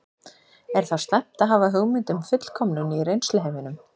Er þá slæmt að hafa hugmynd um fullkomnun í reynsluheiminum?